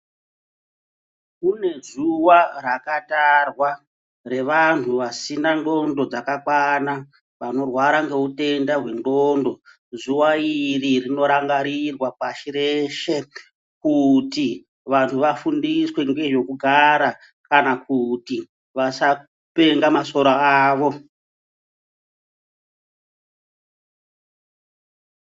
Kune zuwa rakatarwa revantu vasina ndxondo dzakakwana, vanorwara ngeutenda hwendxondo. Zuva iri rinorangarirwa pashi reshe kuti vantu vafundiswe ngezvekugara kana kuti vasapenga masoro avo.